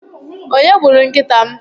onye gburu nkịta m?